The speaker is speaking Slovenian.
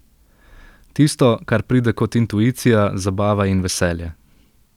Tisto, kar pride kot intuicija, zabava in veselje.